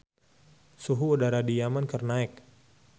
Suhu udara di Yaman keur naek